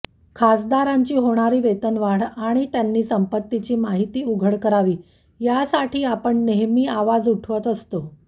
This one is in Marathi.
खासदारांची होणारी वेतनवाढ आणि त्यांनी संपत्तीची माहिती उघड करावी यासाठी आपण नेहमी आवाज उठवत असतो